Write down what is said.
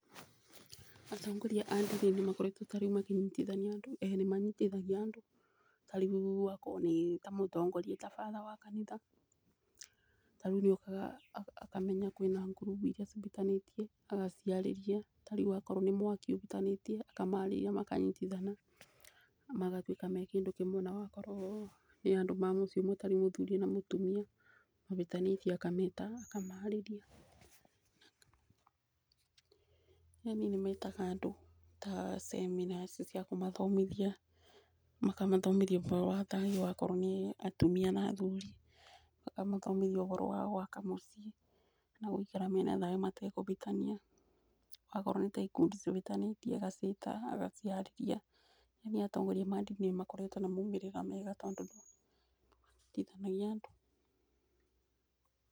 Atongoria a ndini nĩ makoretwo tarĩu makĩnyitithania andũ ĩĩ nĩ manyitithagia andũ. Tarĩu akorwo nĩ tamũtongoria ta fatrher wa kanitha, tarĩu nĩ okaga akamenya kwina ngurubu iria ibĩtanĩtie agaciarĩria. Tarĩu akorwo nĩ mwaki ũbĩtanĩtie akamarĩria makanyitithana magatuĩka me kĩndũ kĩmwe. Na wakorwo nĩ andũ ma mũciĩ ũmwe tarĩu muthuri na mũtumia mabĩtanĩtie akameta aka akamarĩria. Yani nĩ metaga andũ ta seminar ici cia kũmathomithia makamathoimithia ũboro wa ta akorwo nĩ atumia kana nĩ athuri akamathomithia ũboro wa gwaka muciĩ. Na gũikara mena thayu matekũbĩtania, wakorwo nĩ ta ikundi cibĩtanĩtie agaciĩta agaciarĩria, yani atongoria ma ndini nĩyo makoretwo na maumĩrĩra mega tondũ nĩ manyitithanagia andũ.